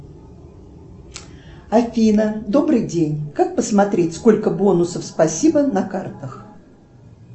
афина добрый день как посмотреть сколько бонусов спасибо на картах